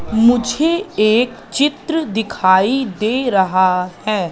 मुझे एक चित्र दिखाई दे रहा है।